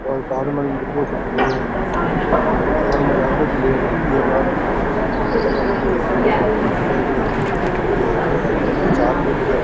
और कार में डबो सो पड़ो है और मजाक भी है लेवा कलर वगेरा कुछ आदमी खड्या --